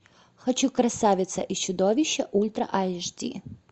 хочу красавица и чудовище ультра айч ди